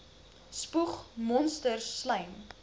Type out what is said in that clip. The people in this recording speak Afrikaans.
spoeg monsters slym